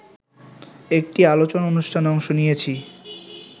একটি আলোচনা অনুষ্ঠানে অংশ নিয়েছি